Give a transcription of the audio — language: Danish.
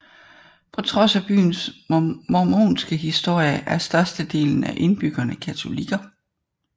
På trods af byens mormonske historie er størstedelen af indbyggerne katolikker